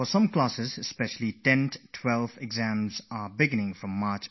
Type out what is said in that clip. Some of them have their 10th and 12th board exams starting from the 1st of March